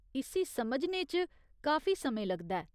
इस्सी समझने च काफी समें लगदा ऐ।